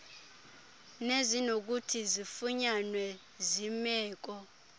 nezinokuthi zifunyanwe zimeko